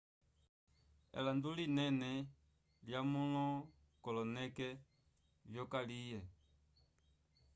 elando linene lyamulakoloneke vyokalye